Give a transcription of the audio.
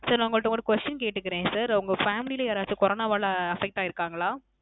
Sir உங்கட்ட ஒரு Question கேட்டுக்குறேன் Sir உங்க Family ல யாராசு Corona வால affect ஆகியிருக்கிங்களா